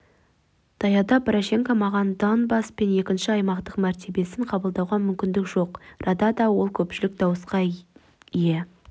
таяуда порошенко маған донбасс пен екінші аймақтың мәртебесін қабылдауға мүмкіндік жоқ радада ол көпшілік дауысқа ие